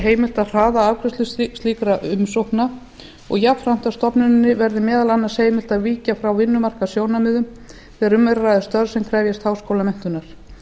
að hraða afgreiðslu slíkra umsókna og jafnframt að stofnuninni verði meðal annars heimilt að víkja frá vinnumarkaðssjónarmiðum þegar um er að ræða störf sem krefjast háskólamenntunar